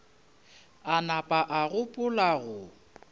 a napa a gopola go